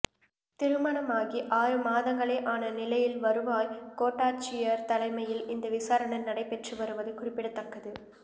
திருமணமாகி ஆறு மாதங்களே ஆன நிலையில் வருவாய் கோட்டாட்சியர் தலைமையில் இந்த விசாரணை நடைபெற்று வருவது குறிப்பிடத்தக்கது